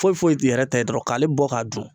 Foyi foyi t'i yɛrɛ ta ye dɔrɔn k'ale bɔ k'a dun